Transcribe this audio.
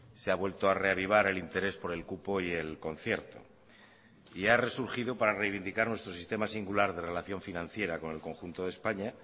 se ha vuelto a reavivar el interés por el cupo y el concierto y ha resurgido para reivindicar nuestro sistema singular de relación financiera con el conjunto de españa